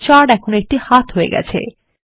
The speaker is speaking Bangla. কার্সার এখন একটি হাত হয়ে গেছে